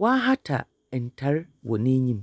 Wɔahata ntar wɔ n’enyim.